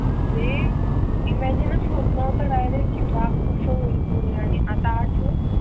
म्हणजे इमॅजिन च होत नव्हतं कि डायरेक्ट कि बाप कस होईल पुढे आणि आता आज